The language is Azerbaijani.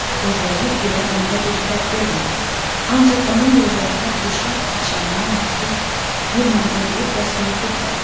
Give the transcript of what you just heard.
Özləri ilə onda bir fərq görmürdü, ancaq onun gözlərində quşlar padşahına məxsus bir məğrurluq və soyuqluq vardı.